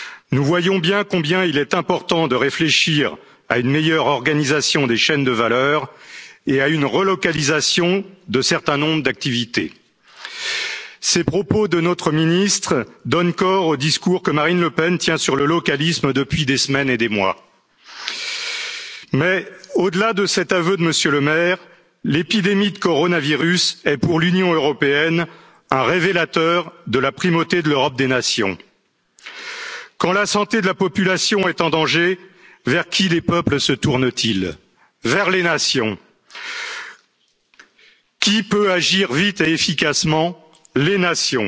Nous voyons bien combien il est important de réfléchir à une meilleure organisation des chaînes de valeur et à une relocalisation d'un certain nombre d'activités. Ces propos de notre ministre donnent corps au discours que Marine Le Pen tient sur le localisme depuis des semaines et des mois. Mais, au delà de cet aveu de M. Le Maire, l'épidémie de coronavirus est pour l'Union européenne un révélateur de la primauté de l'Europe des nations. Quand la santé de la population est en danger, vers qui les peuples se tournent ils? Vers les nations. Qui peut agir vite et efficacement? Les nations.